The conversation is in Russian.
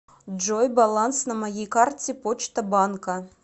джой баланс на моей карте почта банка